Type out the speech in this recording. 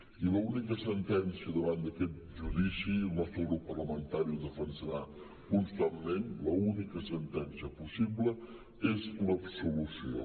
i l’única sentència davant d’aquest judici el nostre grup parlamentari ho defensarà constantment l’única sentència possible és l’absolució